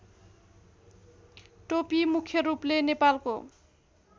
टोपी मुख्यरूपले नेपालको